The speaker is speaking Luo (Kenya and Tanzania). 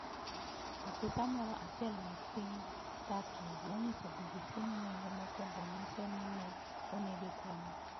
Apisa moro achiel mark piny Turkey nonyiso BBC ni nonro mokwongo nyiso ni ne onege kuno.